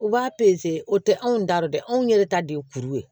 U b'a o tɛ anw ta re dɛ anw yɛrɛ ta de ye kuru ye